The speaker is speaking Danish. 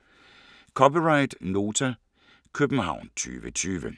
(c) Nota, København 2020